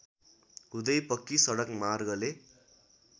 हुँदै पक्की सडक मार्गले